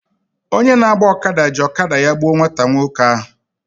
Onye na-agba ọkada ji ọkada ya gbuo nwata nwoke ahụ.